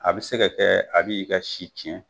A be se ka kɛ a b' i ka si cɛn